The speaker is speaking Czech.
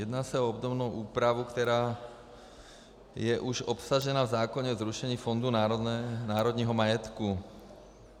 Jedná se o obdobnou úpravu, která je už obsažena v zákoně o zrušení Fondu národního majetku.